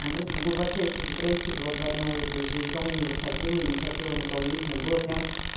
она просто в в глубочайшей депрессии была два дня ееё даже из дома не выходила и не хотела никого видеть мне было прямо